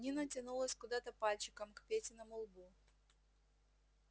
нина тянулась куда-то пальчиком к петиному лбу